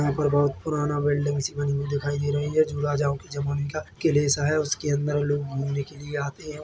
यहाँ पर बहुत पुराना बिल्डिंग्स बनी हुई दिखाई दे रही है जो राजाओं के जमाने का के जैसा है उसके अंदर घूमने के लिए आते हैं ।